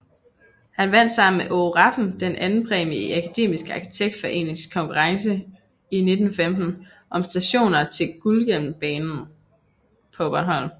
Han vandt sammen med Aage Rafn delt andenpræmie i Akademisk Arkitektforenings konkurrence i 1915 om stationer til Gudhjembanen på Bornholm